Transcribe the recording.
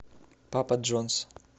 папа джонс